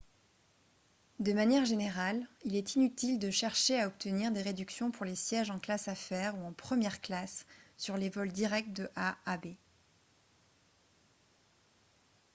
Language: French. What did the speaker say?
de manière générale il est inutile de chercher à obtenir des réductions pour les sièges en classe affaires ou en première classe sur les vols directs de a à b